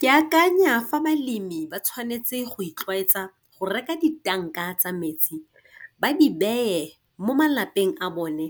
Ke akanya fa balemi ba tshwanetse go itlwaetsa go reka ditanka tsa metsi ba di beye mo malapeng a bone